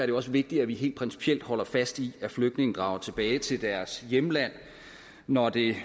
jo også vigtigt at vi helt principielt holder fast i at flygtninge drager tilbage til deres hjemland når det